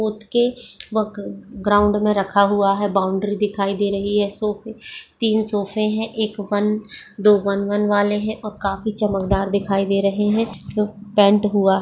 पोत के वक ग्राउंड में रखा हुआ है बाउंड्री दिखाई दे रही है सोफे तीन सोफे हैं एक वन दो वन वन वाले हैं और काफी चमकदार दिखाई दे रहे हैं जो पेंट हुआ --